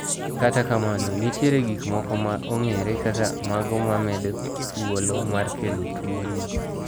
Kata kamano ,nitiere gik moko ma ong'ere kaka mago mamedo thuolo mar kelo tuo ni.